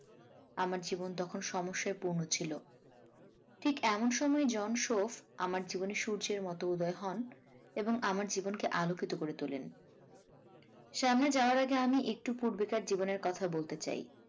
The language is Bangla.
আমার জীবন তখন সমস্যায় পূর্ণ ছিল। ঠিক এমন সময় জন শফ আমার জীবনে সূর্যের মত উদয় হন এবং আমার জীবনকে আলোকিত করে তোলেন সামনে যাওয়ার আগে আমি একটু পূর্বেকার জীবনের কথা বলতে চাই।